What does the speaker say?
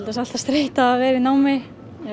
sé alltaf streita að vera í námi